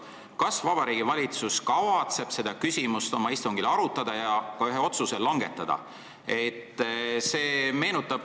Kas Vabariigi Valitsus kavatseb seda küsimust oma istungil arutada ja ka ühe otsuse langetada?